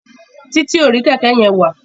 Titi o rí kéké yén wá.